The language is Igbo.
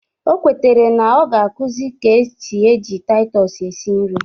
O kwetere na ọ ga-akuzi ka esi eji Taịtọs esi nri